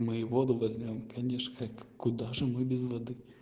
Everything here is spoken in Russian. мы и воду возьмём конечно как куда же мы без воды